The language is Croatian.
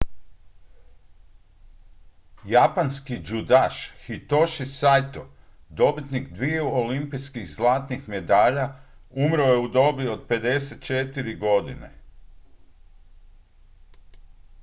japanski judaš hitoshi saito dobitnik dviju olimpijskih zlatnih medalja umro je u dobi od 54 godine